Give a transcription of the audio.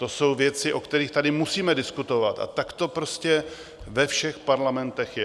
To jsou věci, o kterých tady musíme diskutovat, a tak to prostě ve všech parlamentech je.